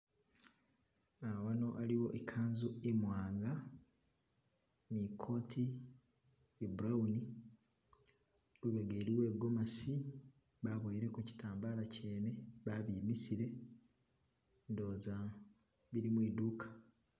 Ah wano aliyo ikanzu imwanga ne coat iye brown , lubega iliyo I'gomesi baboyelekho kitambala kyene babimisile ndowoza bili mwiduka.